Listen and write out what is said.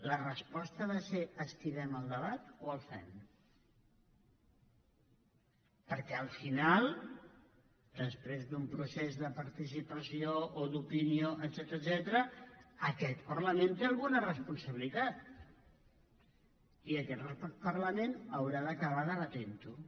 la resposta ha de ser esquivem el debat o el fem perquè al final després d’un procés de participació o d’opinió etcètera aquest parlament hi té alguna responsabilitat i aquest parlament haurà d’acabar debatent ho